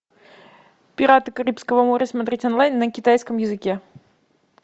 пираты карибского моря смотреть онлайн на китайском языке